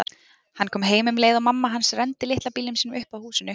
Hann kom heim um leið og mamma hans renndi litla bílnum sínum upp að húsinu.